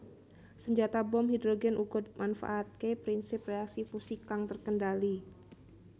Senjata bom hidrogen uga manfaatake prinsip reaksi fusi kang terkendali